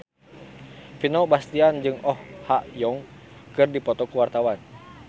Vino Bastian jeung Oh Ha Young keur dipoto ku wartawan